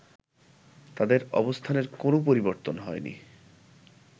তাদের অবস্থানের কোনো পরিবর্তন হয়নি